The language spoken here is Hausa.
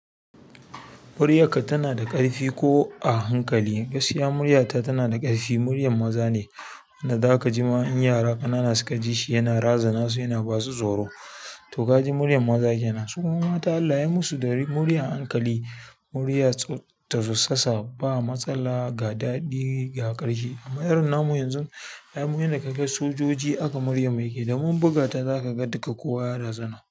Muryarka tana da ƙarfi ko a hankali? Gaskiya muryarta tana da ƙarfi. Muryar maza ne, idan zaka ji ma in yara ƙanana suka ji shi yana razana su, yana ba su tsoro. To kaji muryar maza ke nan. Su kuma mata Allah ya yi musu da muryar hankali, muryar tsutsasa ba matsala, ga daɗi, ga ƙarfi. Amma irin namu yanzu, ai mu inda ka ga sojoji aka muryar mai ke damun buga ta za ka ga duka kowa ya razana.